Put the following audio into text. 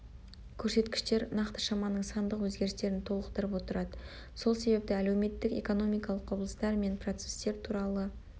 көрсеткіштер нақты шаманың сандық өзгерістерін толықтырып отырады сол себепті әлеуметтік экономикалық құбылыстар мен процестер туралы